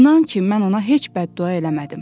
İnan ki mən ona heç bəddua eləmədim.